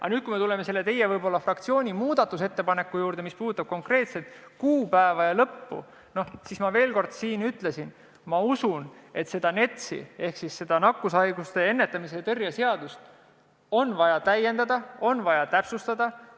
Aga nüüd, kui me tuleme teie fraktsiooni muudatusettepaneku juurde, mis puudutab konkreetset kuupäeva ja seaduse kehtivuse lõppu, siis ma veel kord ütlen, et ma usun, et NETS-i ehk nakkushaiguste ennetamise ja tõrje seadust on vaja täiendada, seda on vaja täpsustada.